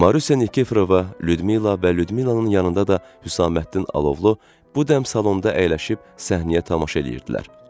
Marusiya Nikeforova, Lyudmila və Lyudmilanın yanında da Hüsaməddin Alovlu bu dəm salonda əyləşib səhnəyə tamaşa eləyirdilər.